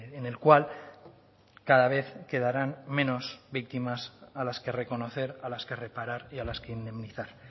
en el cual cada vez quedarán menos víctimas a las que reconocer a las que reparar y a las que indemnizar